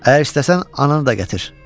Əgər istəsən ananı da gətir.